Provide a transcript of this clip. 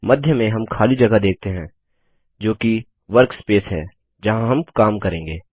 मध्य में हम खाली जगह देखते है जोकि वर्कस्पेस है जहाँ हम काम करेंगे